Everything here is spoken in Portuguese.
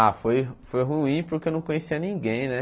Ah, foi foi ruim porque eu não conhecia ninguém, né?